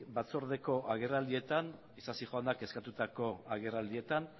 batzordeko agerraldietan isasi jaunak eskatutako agerraldietan